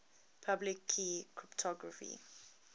public key cryptography